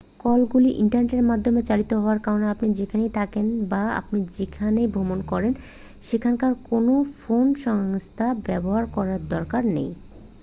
কলগুলি ইন্টারনেটের মাধ্যমে চালিত হওয়ার কারণে আপনি যেখানে থাকেন বা আপনি যেখানে ভ্রমণ করেন সেখানকার কোনও ফোন সংস্থা ব্যবহার করার দরকার নেই